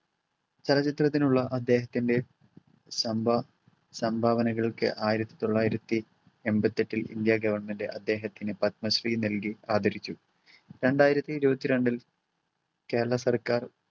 ചലച്ചിത്രത്തിനുള്ള അദ്ദേഹത്തിൻ്റെ സംഭ~ സംഭാവനകൾക്ക് ആയിരത്തി തൊള്ളായിരത്തി എമ്പത്തെട്ടിൽ ഇന്ത്യ government അദ്ദേഹത്തിന് പത്മശ്രീ നൽകി ആദരിച്ചു. രണ്ടായിരത്തി ഇരുപത്തിരണ്ടിൽ